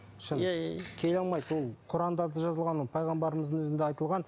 шын келе алмайды ол құранда да жазылған ол пайғамбарымыздың өзінде айтылған